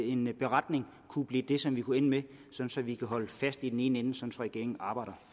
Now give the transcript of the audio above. en beretning kunne blive det som vi kunne ende med så vi kan holde fast i den ene ende så regeringen arbejder